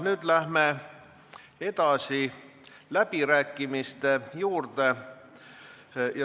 Nüüd läheme edasi läbirääkimistega.